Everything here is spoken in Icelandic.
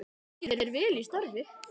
Gangi þér vel í starfi.